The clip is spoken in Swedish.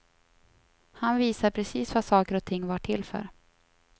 Han visade precis vad saker och ting var till för.